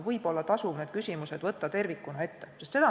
Võib-olla tasub siin vaadata valdkonda kui tervikut.